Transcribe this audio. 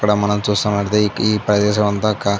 ఇక్కడ మనం చూస్తున్నట్లయితే ఈ ఈ ప్రదేశం అంతా కా --